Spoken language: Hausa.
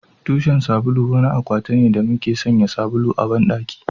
Tushen sabulu wani akwati ne da muke sanya sabulu a bandaki